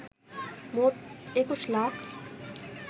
মোট ২১ লাখ